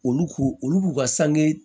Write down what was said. Olu k'u olu b'u ka sange